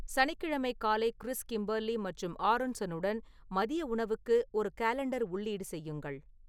சனிக்கிழமை காலை Chris Kimberly மற்றும் ஆரோன்சனுடன் மதிய உணவுக்கு ஒரு காலண்டர் உள்ளீடு செய்யுங்கள்